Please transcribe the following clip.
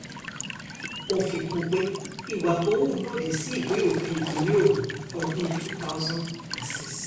ó fi kún un pé ìwà tó hù lòdì sí ìwé òfin ìpínlẹ̀ ogun ọdún 2006